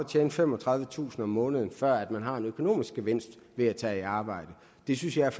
tjene femogtredivetusind kroner om måneden før man har en økonomisk gevinst ved at tage et arbejde det synes jeg